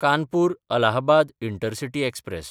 कानपूर–अलाहबाद intercity express